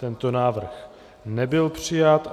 Tento návrh nebyl přijat.